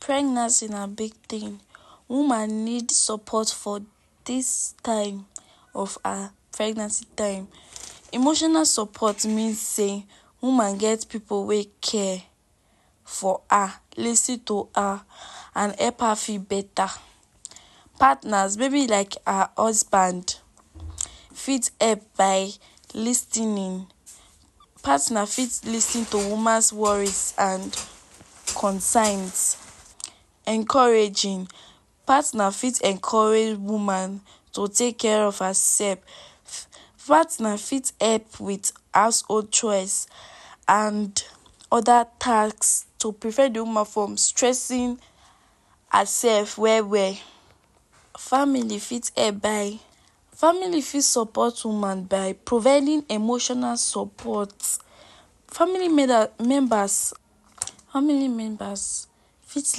Pregnancy na big thing, woman need support for dis time of her pregnancy time. Emotional support mean sey woman get pipu wey care for her, lis ten to her and help her feel better. Partners maybe like her husband fit help by lis ten ing. Partners fit lis ten to woman's worries and concerns. Encouraging; partners fit encourage woman to take care of herself. Partner fit help wit household chores and other task to prevent de woman from stressing herself well well. Family fit help by, family fit support woman by providing emotional support. Family members, family members fit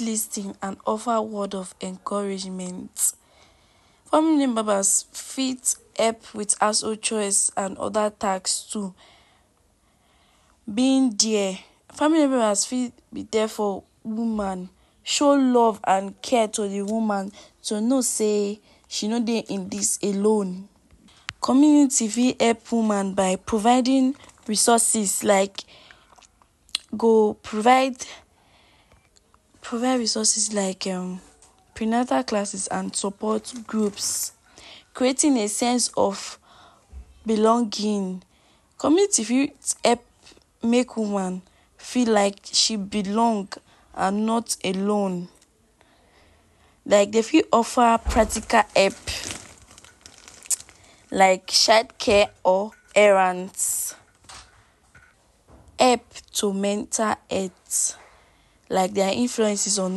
lis ten and offer word of encouragement. Family members fit help wit household chores and other tasks too. Being there; family members fit be there for woman, show love and care to de woman to know sey she no dey in dis alone. Community fit help woman by providing resources like go provide provide resources like um prenatal classes and support groups, creating a sense of belonging. Community fit help make woman feel like she belong and not alone like dey fit offer practical help like childcare or errands. Help to mental health like their influences on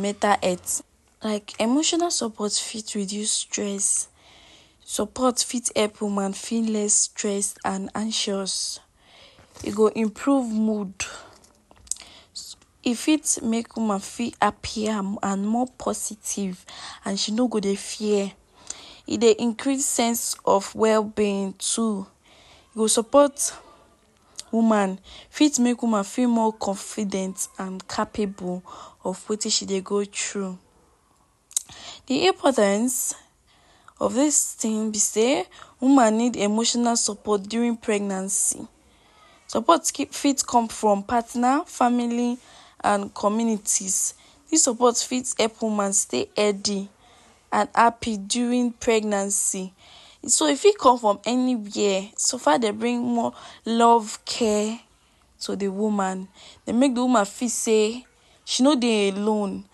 mental health. Like emotional support fit reduce stress, support fit help woman feel less stressed and anxious. E go improve mood; e fit make woman fit happy and and more positive and she no go dey fear. E dey increase sense of well-being too. E go support woman, fit make woman feel more confident and capable of wetin she dey go through. De importance of dis thing be sey; woman need support during pregnancy. Support fit come from partner, family and communities; dis support fit help woman stay healthy and happy during pregnancy. So e fit come from anywhere so far dey bring more love, care to de woman. Dey make de woman feel sey she no dey alone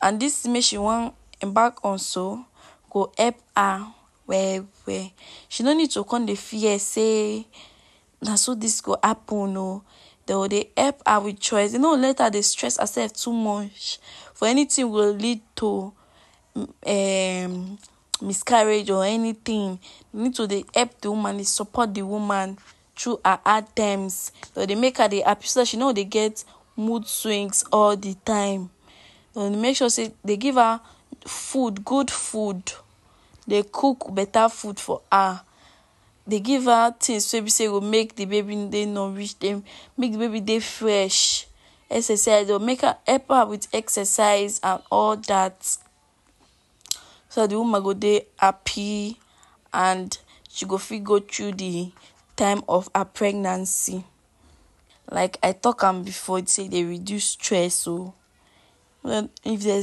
and dis tin mey she wan embark on so go help her well well. She no need to come dey fear sey "na so dis go happen oo". Dey go dey help am wit chores, dey no go let her dey stress herself too much for anything go lead to um miscarriage or anything. Dey need to dey help de woman, dey support de woman through her her hard times, dey go dey make her dey happy so dat she no go dey get mood swings all de time. And make sure sey dey give her food, good food, dey cook better food for her. Dey give her things wey be sey go make de baby dey nourish, dey make de baby dey fresh. Exercise oo; make her, help her wit exercise and all dat. So dat de woman go dey happy and she go fit go through de time of her pregnancy. Like I talk am before take dey reduce stress oo. If dey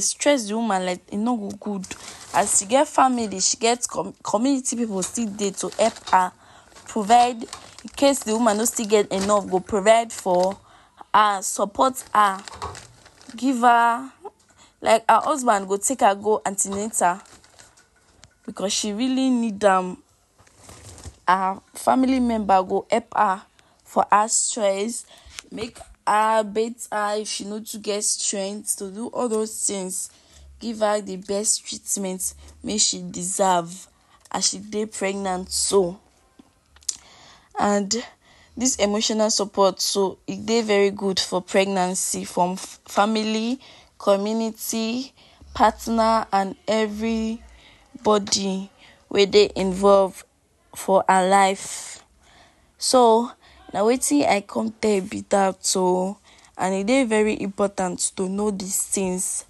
stress de woman like e no go go good. As she get family, she get community pipu still dey to help her, provide incase de woman no still get enough, e go provide for her and support her. Give her like her husband go take am go an ten atal because she really need am. Her family member go help her for house chores make her, bath her if she no too get strength to do all those things. Give her de best treatment wey she deserve as she dey pregnant so. And dis emotional support so, e dey very good for pregnancy for family, community, partner and everybody wey dey involve for her life. So na wetin I come tell be dat oo and e dey very important to know dis things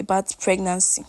about pregnancy.